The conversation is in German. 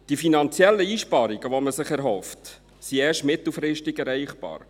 Die finanziellen Einsparungen, die man sich erhofft, sind erst mittelfristig erreichbar.